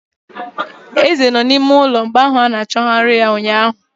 Eze no n'ime ụlọ mgbe ahụ ana achọgarị ya ụnyaahụ.